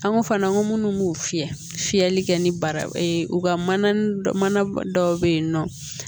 An ko fana an ko minnu b'o fiyɛ fiyɛli kɛ ni baraw ka mana mana dɔ bɛ yen nɔ